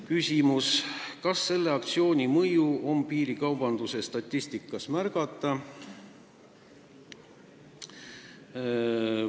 Küsimus: kas selle aktsiooni mõju on piirikaubanduse statistikas märgata?